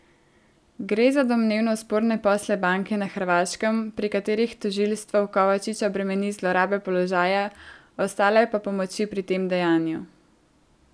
Gre za domnevno sporne posle banke na Hrvaškem, pri katerih tožilstvo Kovačiča bremeni zlorabe položaja, ostale pa pomoči pri tem dejanju.